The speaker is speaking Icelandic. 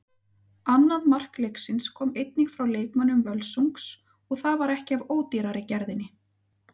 Annað mark leiksins kom einnig frá leikmönnum Völsungs og það var ekki af ódýrari gerðinni.